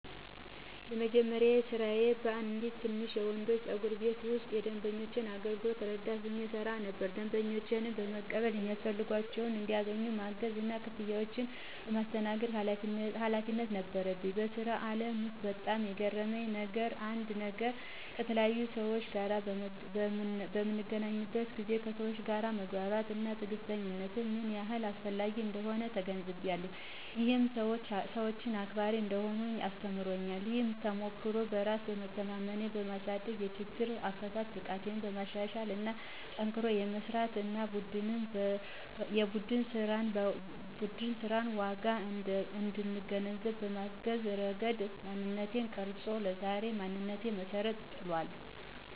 የመጀመሪያ ስራዬ በአንድ ትንሽ የወንዶች ጸጉር ቤት ውስጥ የደንበኞች አገልግሎት ረዳት ሆኜ እሰራ ነበር። ደንበኞችን የመቀበል፣ የሚያስፈልጋቸውን እንዲያገኙ ማገዝ እና ክፍያዎችን የማስተናግድ ኃላፊነት ነበረኝ። በስራው አለም ውስጥ በጣም የገረመኝ አንድ ነገር ከተለያዩ ሰዎች ጋር በምገናኝበት ጊዜ ከሰወች ጋር መግባባት እና ትዕግስተኝነት ምን ያህል አስፈላጊ እንደሆነ ተገንዝቤያለሁ። ይህም ሰወችን አክባሪ እንድሆን አስተምሮኛል። ይህ ተሞክሮ በራስ መተማመኔን በማሳደግ፣ የችግር አፈታት ብቃቴን በማሻሻል እና ጠንክሮ የመስራት እና የቡድን ስራንን ዋጋ እንድገነዘብ በማገዝ ረገድ ማንነቴን ቀርጾታል። ለዛሬ ማንነቴም መሰረትን ጥሏል።